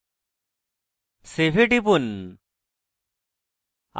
save এ টিপুন